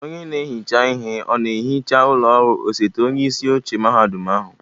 Onye na-ehicha ihe ọ na-ehicha ụlọ ọrụ osote onyeisi oche mahadum ahụ?